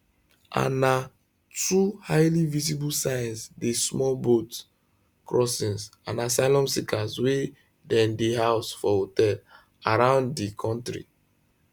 and na two highly visible signs dey small boat crossings and asylum seekers wey dem dey house for hotels around di kontri